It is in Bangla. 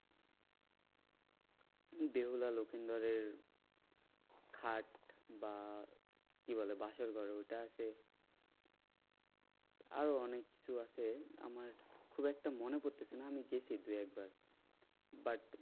বেহুলা লকিন্দরের খাট বা কি বলে? বাসরঘর ঐটা আছে। আরও অনেককিছু আছে আমার খুব একটা মনে করতেছি না আমি গেছি দু একবার but